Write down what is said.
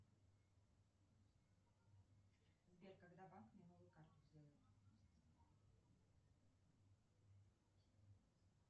сбер когда банк мне новую карту сделает